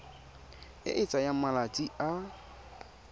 e e tsayang malatsi a